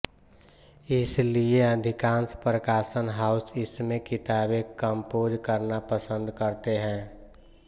इसी लिए अधिकांश प्रकाशन हाउस इसमें किताबें कम्पोज़ करना पसन्द करते हैं